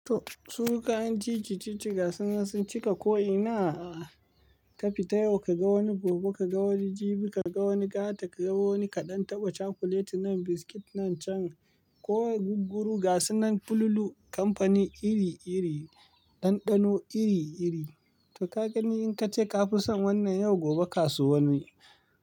To su kayan cici cici sun cika ko'ina. Ka fita yau ka ga wani gobe ka ga wani jibi ka ga wani gata ka ga wani kaɗan. Taba chocolate nan biscuit nan can, ko gugguru gas nan fululu kamfani iri iri, ɗanɗano iri iri. To ka gani in ka ce ka fi son wannan yau gobe ka so wani.